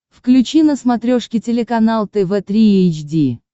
включи на смотрешке телеканал тв три эйч ди